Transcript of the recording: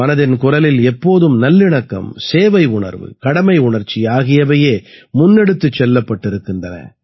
மனதின் குரலில் எப்போதும் நல்லிணக்கம் சேவை உணர்வு கடமை உணர்ச்சி ஆகியவையே முன்னெடுத்துச் செல்லப்பட்டிருக்கின்றன